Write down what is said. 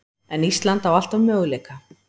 En Ísland á alltaf möguleika